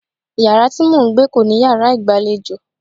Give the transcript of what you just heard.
Yàrá tí mò ń gbé kò ní yàrá ìgbàlejò.